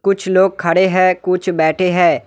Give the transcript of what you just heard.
कुछ लोग खड़े है कुछ बैठे है।